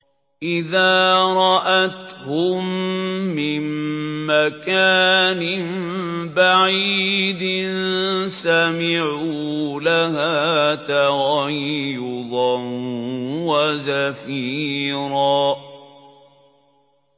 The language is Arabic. إِذَا رَأَتْهُم مِّن مَّكَانٍ بَعِيدٍ سَمِعُوا لَهَا تَغَيُّظًا وَزَفِيرًا